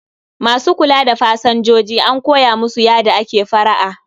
Ma su kula da pasanjoji an koya musu yada ake fara'a